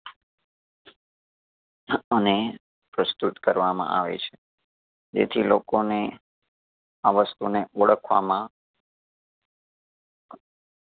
હ અને પ્રસ્તુત કરવામાં આવે છે. જેથી લોકોને આ વસ્તુને ઓળખવામાં